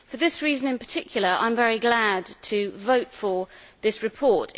For this reason in particular, I am very glad to vote for this report.